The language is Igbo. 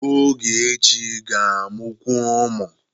Ogechi ga-amụkwu ụmụ.